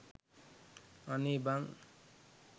අනේ බන්